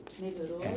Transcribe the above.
Melhorou?